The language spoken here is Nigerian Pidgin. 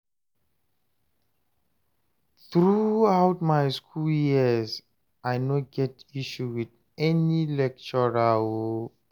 through out my school years, I no get issue with any lecturer o